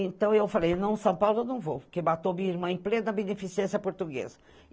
Então eu falei, não, São Paulo eu não vou, porque matou minha irmã em plena beneficência portuguesa.